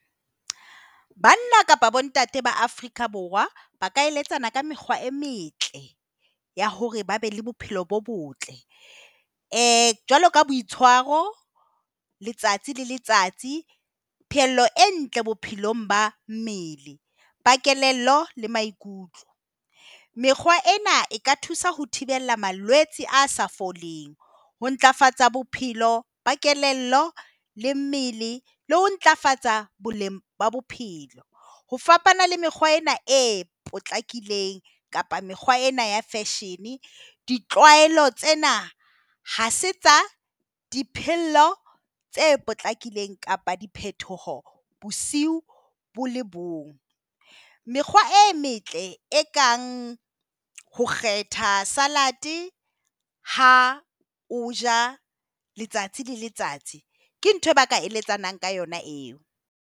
Banna kapa bontate ba Afrika Borwa ba ka eletsana ka mekgwa e metle ya hore ba be le bophelo bo botle. Jwalo ka boitshwaro, letsatsi le letsatsi. Pheello e ntle bophelong ba mmele, ba kelello le maikutlo. Mekgwa ena eka thusa ho thibela malwetse a sa foleng ho ntlafatsa bophelo ba kelello le mmele le ho ntlafatsa boleng ba bophelo. Ho fapana le mekgwa ena e potlakileng kapa mekgwa ena ya fashion. Ditlwaelo tsena ha se tsa dipehelo tse potlakileng kapa diphetoho bosiung bo le bong. Mekgwa e metle ekang ho kgetha salad ha o ja letsatsi le letsatsi, ke ntho eo ba ka eletsang ka yona eo.